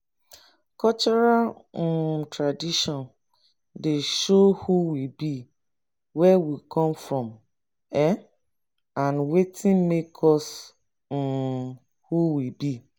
cultural um tradition dey show who we be where we come from um and wetin make us um who we be